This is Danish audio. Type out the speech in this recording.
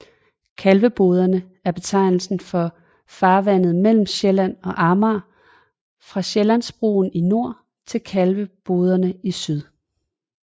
Kalveboderne er betegnelsen for farvandet mellem Sjælland og Amager fra Sjællandsbroen i nord til Kalvebodbroerne i syd